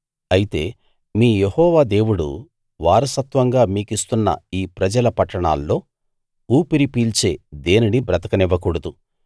అయితే మీ యెహోవా దేవుడు వారసత్వంగా మీకిస్తున్న ఈ ప్రజల పట్టణాల్లో ఊపిరి పీల్చే దేనినీ బతకనివ్వకూడదు